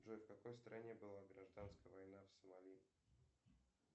джой в какой стране была гражданская война в сомали